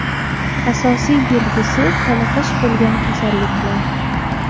Asosiy belgisi toliqish bo‘lgan kasalliklar.